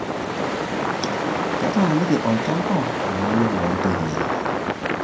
Ketaaniki olchamba olale loo ntekei.